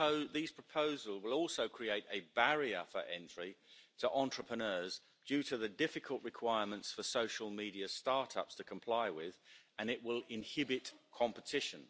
These proposals will also create a barrier for entry to entrepreneurs, due to the difficult requirements for social media start-ups to comply with and it will inhibit competition.